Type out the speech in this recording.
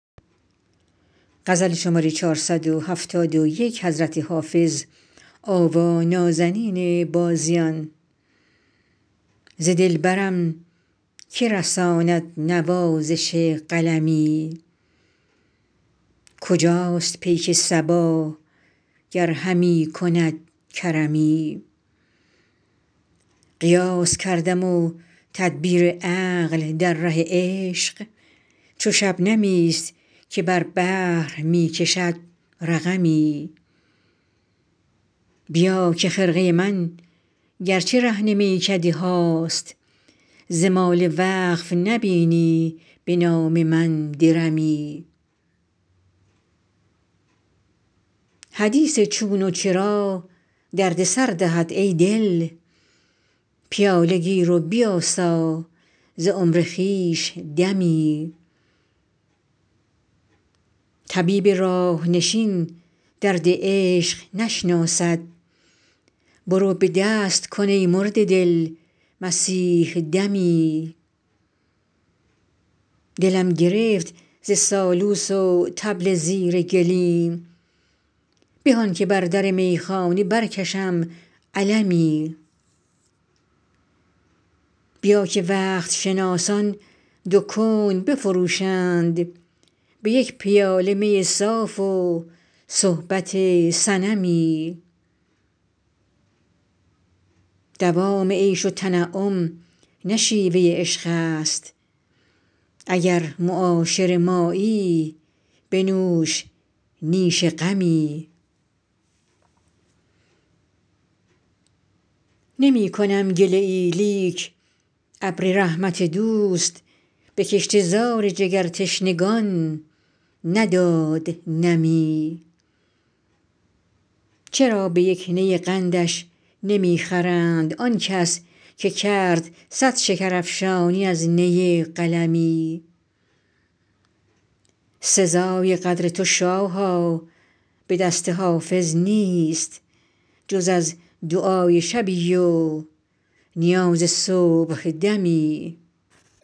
ز دلبرم که رساند نوازش قلمی کجاست پیک صبا گر همی کند کرمی قیاس کردم و تدبیر عقل در ره عشق چو شبنمی است که بر بحر می کشد رقمی بیا که خرقه من گر چه رهن میکده هاست ز مال وقف نبینی به نام من درمی حدیث چون و چرا درد سر دهد ای دل پیاله گیر و بیاسا ز عمر خویش دمی طبیب راه نشین درد عشق نشناسد برو به دست کن ای مرده دل مسیح دمی دلم گرفت ز سالوس و طبل زیر گلیم به آن که بر در میخانه برکشم علمی بیا که وقت شناسان دو کون بفروشند به یک پیاله می صاف و صحبت صنمی دوام عیش و تنعم نه شیوه عشق است اگر معاشر مایی بنوش نیش غمی نمی کنم گله ای لیک ابر رحمت دوست به کشته زار جگرتشنگان نداد نمی چرا به یک نی قندش نمی خرند آن کس که کرد صد شکرافشانی از نی قلمی سزای قدر تو شاها به دست حافظ نیست جز از دعای شبی و نیاز صبحدمی